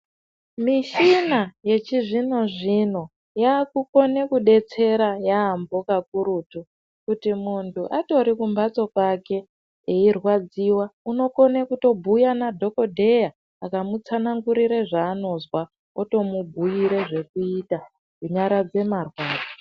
Mishina yechizvinozvino yakukone kudetsera yaambo kakurutu, kuti muntu atori kumhatso kwake eiradziwa, unokone kutobhuya nadhogodheya, akamutsanangurire zvaanozwa otomubhuyira zvekuita kunyaradze marwadzo.